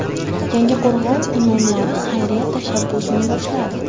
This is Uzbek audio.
Yangiqo‘rg‘on imomlari xayriya tashabbusini boshladi.